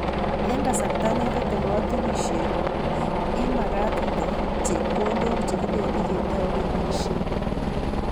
Eng kasarta ne tete katunisyeng'ung', imagaat itet chepkondook chekibendi ketou keboisye.